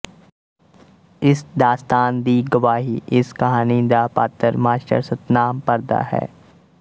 ਇਸ ਦਾਸਤਾਨ ਦੀ ਗਵਾਹੀ ਇਸ ਕਹਾਣੀ ਦਾ ਪਾਤਰ ਮਾਸਟਰ ਸਤਿਨਾਮ ਭਰਦਾ ਹੈ